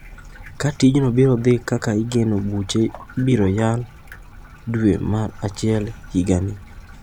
Ka tijno biro dhi kaka igeno bucheno ibiro chak yal dwe mar achiel higani.